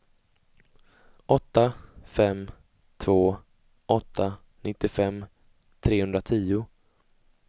åtta fem två åtta nittiofem trehundratio